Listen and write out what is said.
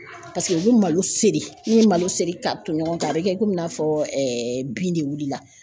Paseke u be malo seri n'u ye malo seri ka ton ɲɔgɔn kan a be kɛ komi i n'a fɔ bin de wulila